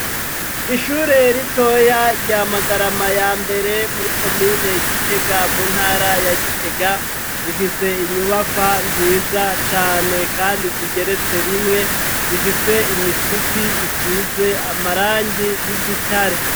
Ishure ritoya rya magarama ya mbere muri komine gitega mu ntara ya gitega, rifise inyubakwa nziza cane kandi zigeretse rimwe zifise imisipi isize amarangi y'igitare.